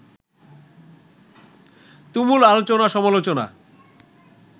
তুমুল আলোচনা-সমালোচনা